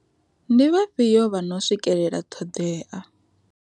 Ndi vhafhio vha no swikelela ṱhoḓea.